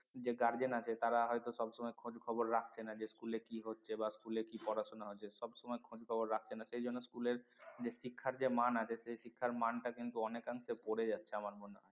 যে guardian আছে তারা হয়তো সবসময় খোঁজ খবর রাখছে না যে school এ কি হচ্ছে বা school এ কি পড়াশুনা হচ্ছে সবসময় খোঁজ খবর রাখে না সেই জন্য school এর যে শিক্ষার যে মান আছে সেই শিক্ষার মান টা কিন্তু অনেকাংশে পরে যাচ্ছে আমার মনে হয়